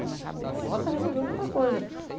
O vai e volta resolveu muita coisa.